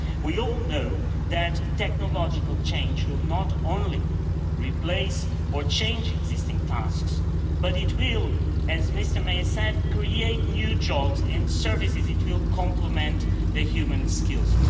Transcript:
We all know that technological change will not only replace or change existing tasks, but it will, as Mr Mayer said, create new jobs in services, it will complement human skills.